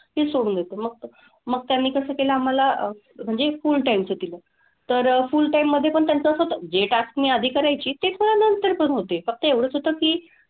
तीच सोडून देते मग तर मग त्यांनी कसं केलं आम्हाला म्हणजे full time चं दिलं. तर full time मधेपण त्यांचं असं होतं जे task मी आधी करायची तेच मला नंतर पण होते. फक्त एवढंच होतं की,